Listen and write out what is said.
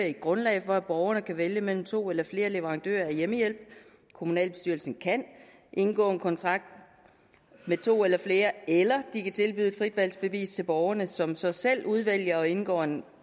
et grundlag for at borgerne kan vælge mellem to eller flere leverandører af hjemmehjælp kommunalbestyrelsen kan indgå en kontrakt med to eller flere eller de kan tilbyde fritvalgsbevis til borgerne som så selv udvælger og indgår en